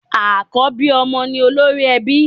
Àkọ́bí ọmọ ni olórí ẹbí.